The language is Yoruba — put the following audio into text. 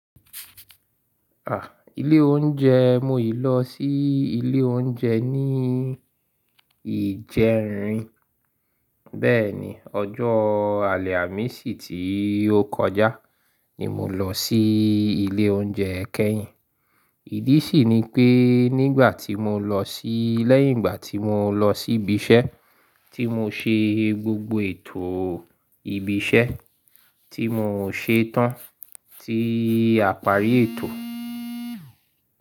À, ilé oúnjẹ mo yìí lọ sí ilé oúnjẹ ní ìjẹrin. Bẹ́ẹ̀ni, ọjọ́ àlẹ̀ àmi sì ti ó kọjá ni mo lọ sí ilé oúnjẹ kẹ́yìn. Ìdí sì ni pé nígbà tí mo lọ sí lẹ́yìn ìgbà tí mo lọ sí ibi iṣẹ́ tí mo ṣe gbogbo ètò ibi iṣẹ́ tí mo ṣe tán tí àparí ètò.